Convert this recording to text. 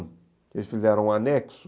Eles fizeram um anexo.